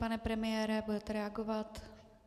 Pane premiére, budete reagovat?